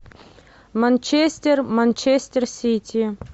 манчестер манчестер сити